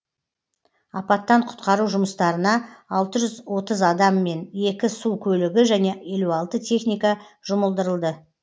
апаттан құтқару жұмыстарына алты жүз отыз адам мен екі су көлігі және елу алты техника жұмылдырылды